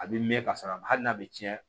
A bɛ mɛn ka sɔrɔ a ma hali n'a bɛ tiɲɛ